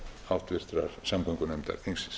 háttvirtrar samgöngunefndar þingsins